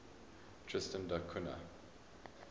tristan da cunha